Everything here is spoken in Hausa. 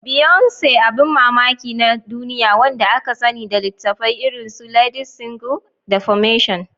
Beyoncé, Abin mamaki na duniya wanda aka sani da litattafai irin su "Ladies Single" da "Formation."